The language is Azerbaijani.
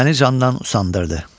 Məni candan usandırdı.